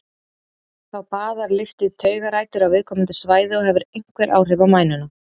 Þá baðar lyfið taugarætur á viðkomandi svæði og hefur einhver áhrif á mænuna.